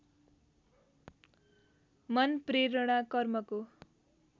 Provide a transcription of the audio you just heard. मन प्रेरणा कर्मको